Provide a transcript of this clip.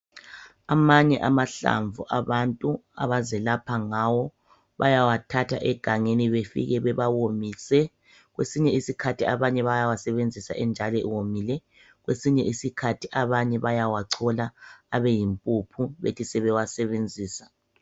Amanye amahlamvu abantu abazelapha ngawo bayawathatha egangeni bafike bawawomise kwesinye isikhathi abanye bayawasebenzisa enjalo ewomile kwesinye isikhathi abanye bayawachola abeyimpuphu bethi sebewasebenzisa